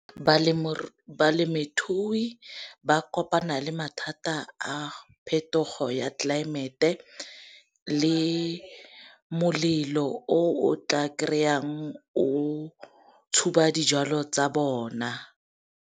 Balemithui ba kopana le mathata a phetogo ya tlelaemete le molelo o o tla kry-ang o tshuba dijalo tsa bona.